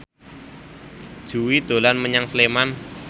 Jui dolan menyang Sleman